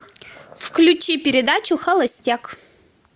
включи передачу холостяк